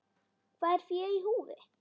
Hvað er fé í húfi?